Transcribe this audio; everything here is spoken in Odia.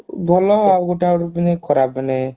ଭଲ ଆଉ ଗୋଟେ ଆଡୁ ମାନେ ଖରାପ ମାନେ